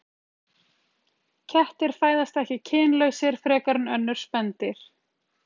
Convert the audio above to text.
Kettir fæðast ekki kynlausir frekar en önnur spendýr.